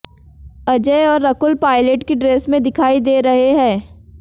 अजय और रकुल पायलट की ड्रेस में दिखाई दे रहे हैं